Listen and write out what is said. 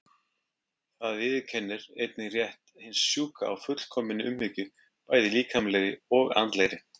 Það viðurkennir einnig rétt hins sjúka á fullkominni umhyggju, bæði líkamlegri og andlegri.